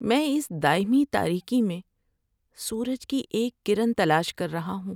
میں اس دائمی تاریکی میں سورج کی ایک کرن تلاش کر رہا ہوں۔